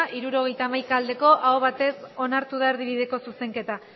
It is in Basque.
hirurogeita hamaika bai aho batez onartu da erdibideko zuzenketa